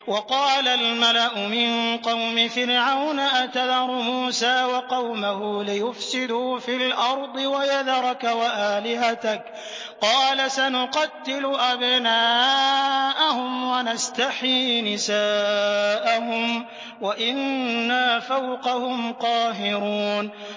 وَقَالَ الْمَلَأُ مِن قَوْمِ فِرْعَوْنَ أَتَذَرُ مُوسَىٰ وَقَوْمَهُ لِيُفْسِدُوا فِي الْأَرْضِ وَيَذَرَكَ وَآلِهَتَكَ ۚ قَالَ سَنُقَتِّلُ أَبْنَاءَهُمْ وَنَسْتَحْيِي نِسَاءَهُمْ وَإِنَّا فَوْقَهُمْ قَاهِرُونَ